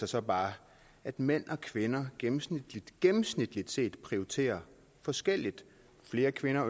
sig bare at mænd og kvinder gennemsnitligt gennemsnitligt set prioriterer forskelligt flere kvinder